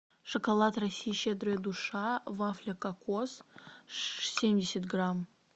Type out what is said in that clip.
шоколад россия щедрая душа вафля кокос семьдесят грамм